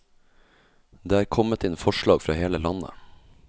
Det er kommet inn forslag fra hele landet.